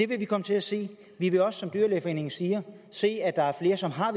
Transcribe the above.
vi komme til at se vi vil også som dyrlægeforeningen siger se at der er flere som har